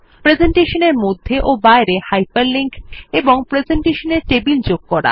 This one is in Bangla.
প্রেসেন্টেশনের মধ্যে ও বাইরে হাইপার লিঙ্ক এবং প্রেসেন্টেশনে টেবিল যোগ করা